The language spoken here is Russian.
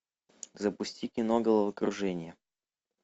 запусти кино головокружение